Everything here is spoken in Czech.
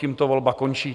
Tímto volba končí.